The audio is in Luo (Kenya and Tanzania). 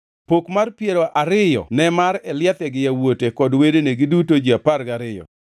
Pok mar piero ariyo ne mar Eliatha gi yawuote kod wedene, giduto ji apar gariyo,